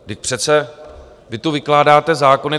Vždyť přece vy tu vykládáte zákony.